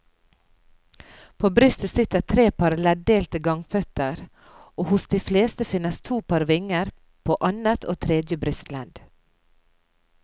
På brystet sitter tre par leddelte gangføtter og hos de fleste finnes to par vinger, på annet og tredje brystledd.